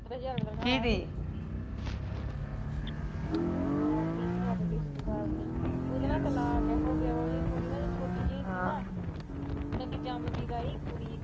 ਹੈਗੀ ਇੱਕ ਸਾਡੀ ਰਿਸ਼ਤੇਦਾਰਨੀ ਉਹਦਾ ਨਾ ਤਲਾਕੇ ਹੋਗਿਆਵਾ ਉਹਦੀ ਕੁੜੀ ਜਦ ਛੋਟੀ ਜੀ ਤੀ ਨਾ ਮਤਲਬ ਕੀ ਜਮਦੀ ਦਾ ਹੀ ਕੁੜੀ